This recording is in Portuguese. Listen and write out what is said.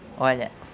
olha